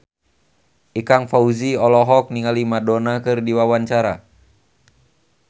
Ikang Fawzi olohok ningali Madonna keur diwawancara